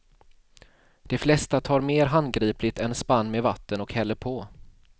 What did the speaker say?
De flesta tar mer handgripligt en spann med vatten och häller på.